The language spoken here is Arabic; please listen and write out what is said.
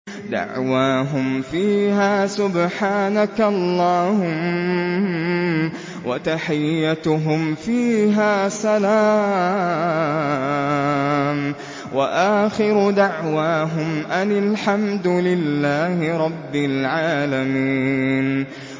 دَعْوَاهُمْ فِيهَا سُبْحَانَكَ اللَّهُمَّ وَتَحِيَّتُهُمْ فِيهَا سَلَامٌ ۚ وَآخِرُ دَعْوَاهُمْ أَنِ الْحَمْدُ لِلَّهِ رَبِّ الْعَالَمِينَ